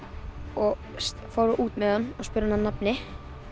og fór út með hann og spurði hann að nafni